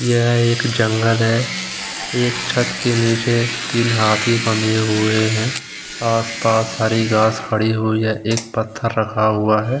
यह एक जंगल है एक छत के नीचे तीन हाथी बंधे हुए है आस-पास हरी घास खड़ी हुई है एक पत्थर रखा हुआ है।